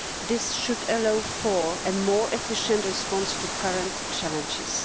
This should allow for a more efficient response to current challenges.